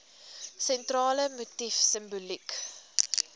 sentrale motief simboliek